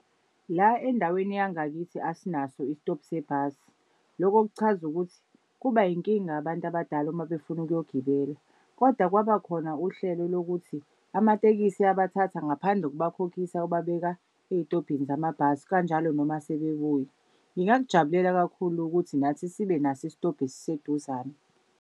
La endaweni yangakithi asinaso isitobhu sebhasi. Lokho kuchaza ukuthi kuba inkinga abantu abadala uma befuna ukuyogibela. Kodwa kwabakhona uhlelo lokuthi amatekisi abathatha ngaphandle kokubakhokhisa kubabeka ey'tobhini zamabhasi kanjalo noma sebebuya. Ngingakujabulela kakhulu ukuthi nathi sibe naso isitobhi esiseduzane.